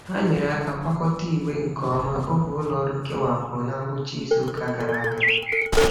Ha nyeere aka kwakọta igbe nke ọma oge ụlọọrụ kewapụrụ na ngwụcha izuụka gara aga.